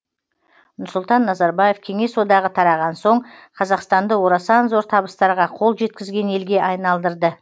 нұрсұлтан назарбаев кеңес одағы тараған соң қазақстанды орасан зор табыстарға қол жеткізген елге айналдырды